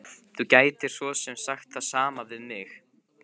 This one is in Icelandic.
Þú gætir svo sem sagt það sama við mig.